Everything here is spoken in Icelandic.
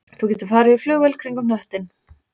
Þú getur farið í flugvél kringum hnöttinn